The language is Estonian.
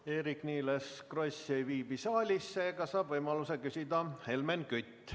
Eerik-Niiles Kross ei viibi saalis, seega saab võimaluse küsida Helmen Kütt.